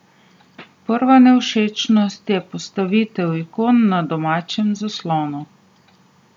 Prva nevšečnost je postavitev ikon na domačem zaslonu.